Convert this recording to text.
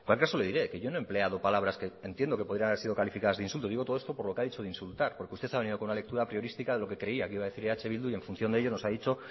caso le diré que yo no he empleado palabras que entiendo que podrían haber sido calificadas de insulto digo todo esto por lo que ha dicho de insultar porque usted ha venido con una lectura apriorística de lo que creía que iba decir eh bildu y en función de ello nos ha dicho